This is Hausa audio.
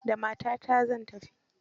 Da matata zan tafi.